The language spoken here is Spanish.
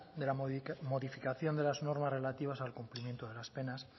de la modificación de las normas relativas al cumplimiento de las penas